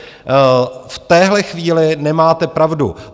V téhle chvíli nemáte pravdu.